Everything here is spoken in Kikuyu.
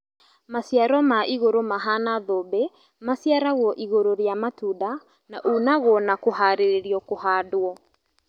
Maciaro maigũrũ mahana thũmbĩ maciaragwp igũrũ rĩa matunda na unagwo na kũharĩrĩrio kũhandwo